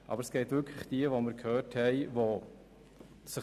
Aber es gibt wirklich diejenigen, von denen wir gehört haben.